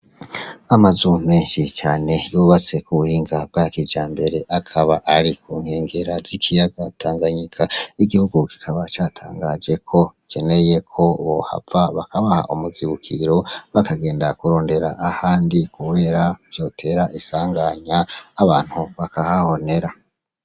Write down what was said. Amazu menshi cane yubatse kubuhinga bwa kijambere, akaba ari kunkengera z'ikiyaga Tanganyika. Igihugu kikaba catangaje ko gikeneye ko bohava bakabaha umuzibukiro , bakagenda kurondera ahandi kubera vyotera isanganya abantu bakahahonera.